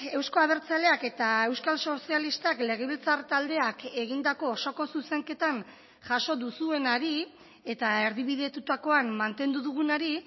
euzko abertzaleak eta euskal sozialistak legebiltzar taldeak egindako osoko zuzenketan jaso duzuenari eta erdibidetutakoan mantendu dugunari